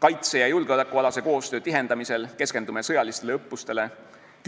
Kaitse- ja julgeolekualase koostöö tihendamisel keskendume sõjalistele õppustele,